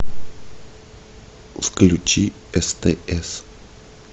включи стс